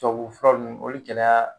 Tubabu fura nunnu olu gɛlɛya